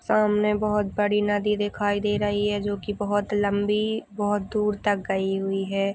सामने बहौत बड़ी नदी दिखाई दे रही है जो की बहौत लम्बी बहौत दूर तक गई हुई है।